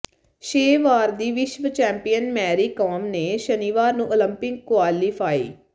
ਛੇ ਵਾਰ ਦੀ ਵਿਸ਼ਵ ਚੈਂਪੀਅਨ ਮੇੈਰੀ ਕਾਮ ਨੇ ਸ਼ਨੀਵਾਰ ਨੂੰ ਓਲੰਪਿਕ ਕੁਆਲੀਫਾਈ